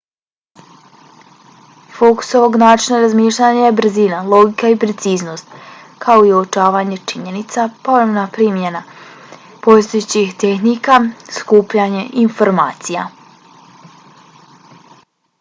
fokus ovog načina razmišljanja je brzina logika i preciznost kao i uočavanje činjenica ponovna primjena postojećih tehnika skupljanje informacija